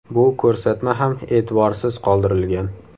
Bu ko‘rsatma ham e’tiborsiz qoldirilgan.